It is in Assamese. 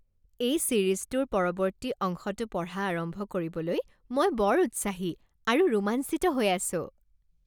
এই ছিৰিজটোৰ পৰৱৰ্তী অংশটো পঢ়া আৰম্ভ কৰিবলৈ মই বৰ উৎসাহী আৰু ৰোমাঞ্চিত হৈ আছোঁ!